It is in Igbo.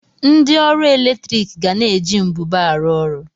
Ndị ọrụ eletrik ga na-eji mbube arụ ọrụ.